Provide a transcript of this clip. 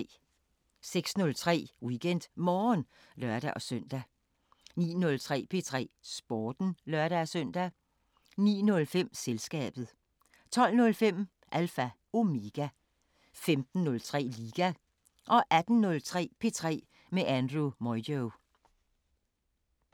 06:03: WeekendMorgen (lør-søn) 09:03: P3 Sporten (lør-søn) 09:05: Selskabet 12:05: Alpha Omega 15:03: Liga 18:03: P3 med Andrew Moyo